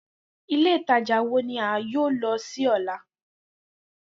Ile Itaja wo ni a yoo lọ si ọla?